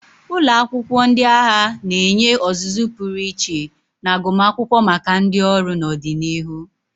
Ụlọ akwụkwọ ndị agha na-enye ọzụzụ pụrụ iche na agụmakwụkwọ maka ndị ọrụ n'ọdịnihu.